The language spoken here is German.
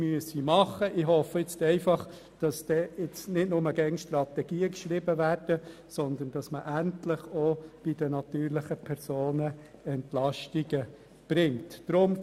Ich hoffe einfach, dass nicht mehr nur Strategien verfasst werden, sondern dass man endlich auch bei den natürlichen Personen Entlastungen vornimmt.